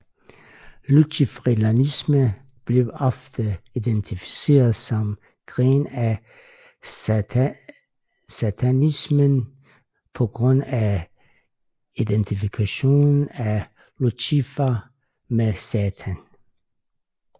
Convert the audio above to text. Luciferianisme bliver ofte identificeret som gren af satanismen på grund af identifikationen af Lucifer med Satan